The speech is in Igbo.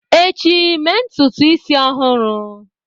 echi, mee ntutu isi ọhụrụ!